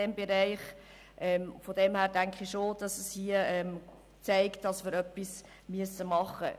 Das zeigt meines Erachtens, dass wir hier etwas tun müssen.